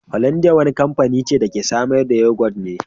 Holandiya wani kamfanin ce da ke samar da yagot ne.